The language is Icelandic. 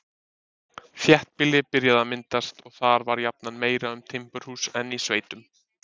Þéttbýli byrjaði að myndast, og þar var jafnan meira um timburhús en í sveitum.